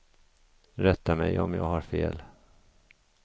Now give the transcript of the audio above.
Rätta mig om jag har fel.